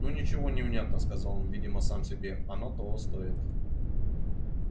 ну ничего невнятно сказал он видимо сам себе оно того стоит